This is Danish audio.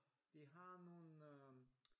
De har nogen øh